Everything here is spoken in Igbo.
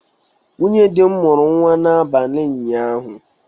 Nwunye dị m mụrụ nwa n'abalị ụnyaahụ.